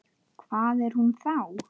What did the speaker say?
Hvar er hún þá?